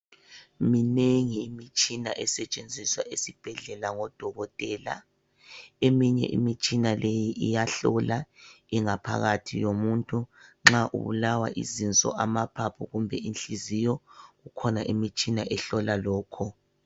Minengi imitshina esetshenziswa esibhedlela ngodokotela. Eminye imitshina leyi iyahlola ingaphakathi yomuntu. Nxa ubulawa yizinso , amaphaphu kumbe inhliziyo. Kukhona imitshina ehlola lokho.